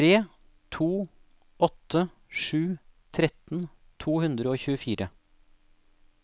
tre to åtte sju tretten to hundre og tjuefire